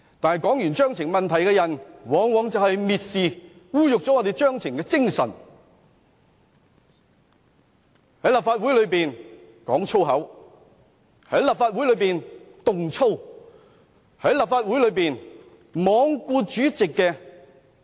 不過，提出規程問題的議員往往蔑視、污辱規程的精神，在立法會內講粗口，在立法會內動粗，在立法會內罔顧主席的命令。